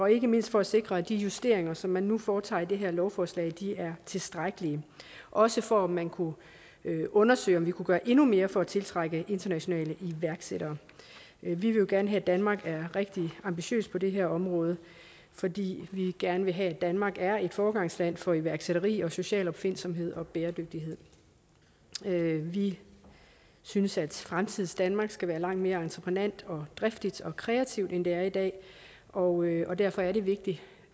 ikke mindst for at sikre at de justeringer som man nu foretager i det her lovforslag er tilstrækkelige også for at man kunne undersøge om vi kunne gøre endnu mere for at tiltrække internationale iværksættere vi vil jo gerne have at danmark er rigtig ambitiøse på det her område fordi vi gerne vil have at danmark er et foregangsland for iværksætteri og social opfindsomhed og bæredygtighed vi synes at fremtidens danmark skal være langt mere entreprenant og driftigt og kreativt end det er i dag og derfor er det vigtigt